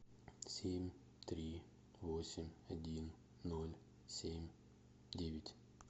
семь три восемь один ноль семь девять